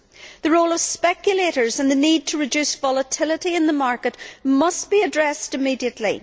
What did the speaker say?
The role of speculators and the need to reduce volatility in the market must be addressed immediately.